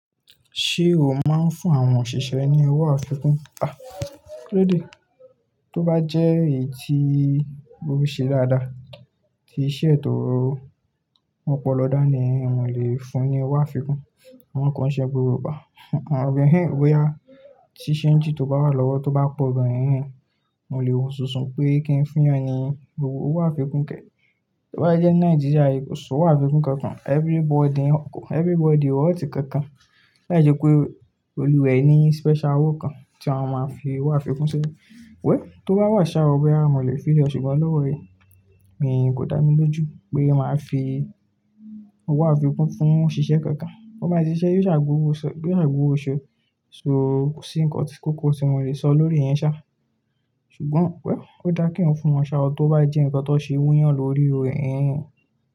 Ṣé o máa ń fún àwọn òṣìṣẹ́ ní owó àfikún? Ha. Kílóde? Tó bá jẹ́ èyí tí ó ṣe dáadáa, tí iṣẹ́ ẹ tò ó mopo lọ́dánì, mo lè fún un ní owó àfikún. Won koo ṣe gbogbo igbá àwọn hehe boyá, tí ṣéńjì tó bá wà lọ́wọ́ tó bá pọ̀ gan-an ehehe mo lè wo sunsun pé kí n fún ẹ ní owó àfikún kẹ̀. Tó bá jẹ́ Nàìjíríà, kosowo àfikún kankan, everybody kọ́ họ̀tí kankan. Láì ṣe pé olùwẹ̀ ni special owo kan tí wọ́n máa fi owó àfikún sí. Wei, tó bá wà saa oo, a mo lè fi èṣù gbọ́n lọ́wọ́ mii. Èmi kò dá mi lójú pé màá fi owó àfikún fún òṣìṣẹ́ kankan. kÓ báa sì ṣiṣẹ́ bí gbọwọ́ òṣu, bí gbọwọ́ òṣu, so ko ǹkan tí kóko tí mo lè sọ lórí i yẹn ṣá. Ṣùgbọ́n well, ó dáa kí n fún wọn ṣá ọ tó bá jẹ́ ǹkan tó ṣe wuyan lórí ehen hen.